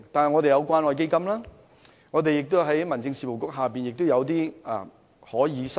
我們有關愛基金，民政事務局下亦有些資助基金可以申請。